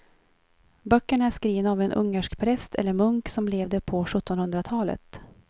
Böckerna är skrivna av en ungersk präst eller munk som levde på sjuttonhundratalet.